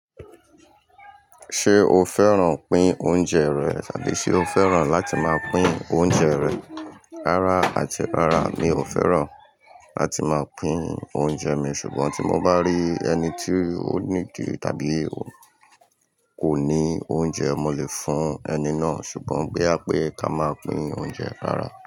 Ṣé o fẹ́ràn pín oúnjẹ rẹ̀ tàbí ṣe o fẹ́ràn láti máa pín oúnjẹ rẹ̀ rárá àti rárá mi ò fẹ́ràn láti máa pín oúnjẹ mi ṣùgbọ́n tí mo bá rí ẹni tí ó ní dì tàbí kò ní oúnjẹ mo lè fún ẹni náà ṣùgbọ́n boya pé ká máa pín oúnjẹ rárá.